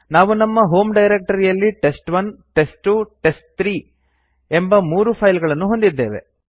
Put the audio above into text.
ನಾವು ನಮ್ಮ ಹೋಮ್ ಡೈರಕ್ಟರಿಯಲ್ಲಿ ಟೆಸ್ಟ್1 ಟೆಸ್ಟ್2 ಟೆಸ್ಟ್3 ಎಂಬ ಮೂರು ಫೈಲ್ ಗಳನ್ನು ಹೊಂದಿದ್ದೇವೆ